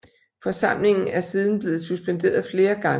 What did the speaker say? Forsamlingen er siden blevet suspenderet flere gange